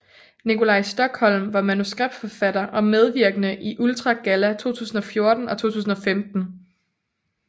Nikolaj Stokholm var Manuskriptforfatter og medvirkende i Ultra Galla 2014 og 2015